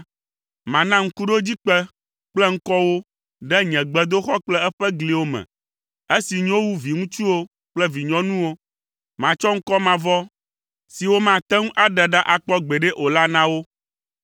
mana ŋkuɖodzikpe kple ŋkɔ wo ɖe nye gbedoxɔ kple eƒe gliwo me, esi nyo wu viŋutsuwo kple vinyɔnuwo. Matsɔ ŋkɔ mavɔ si womate ŋu aɖe ɖa akpɔ gbeɖe o la na wo.